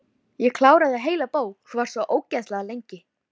Ég kláraði heila bók, þú varst svo ógeðslega lengi.